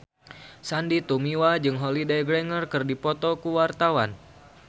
Sandy Tumiwa jeung Holliday Grainger keur dipoto ku wartawan